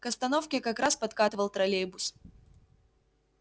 к остановке как раз подкатывал троллейбус